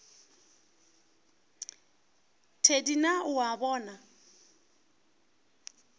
thedi na o a bona